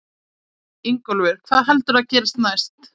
Ingólfur: Hvað heldurðu að gerist næst?